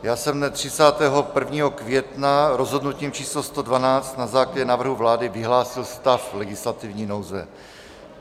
Já jsem dne 31. května rozhodnutím číslo 112 na základě návrhu vlády vyhlásil stav legislativní nouze.